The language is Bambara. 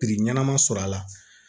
Biri ɲɛnama sɔrɔ a la